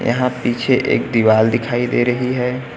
यहां पीछे एक दीवाल दिखाई दे रही है।